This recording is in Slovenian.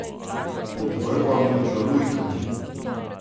Pod vrbami žalujkami.